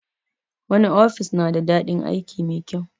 Wani ofis na da daɗin aiki mai kyau